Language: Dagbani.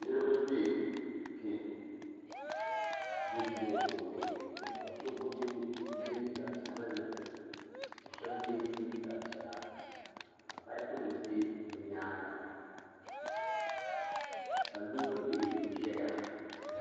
Niriba bɛ kpɛ duu ŋɔ puuni ka so yiɛ liiga sabinli ka shɛba yiɛ liiga piɛlla ka paipu nima bɛ bi yɛanga ka loori bihi zɛya.